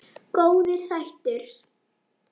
Góðir þættir.